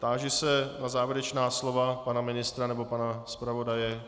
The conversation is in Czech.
Táži se na závěrečná slova pana ministra nebo pana zpravodaje.